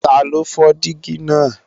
Taló fọ́ dígí náà